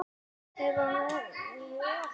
Lengi lifi minning hennar!